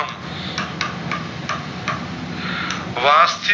વાહ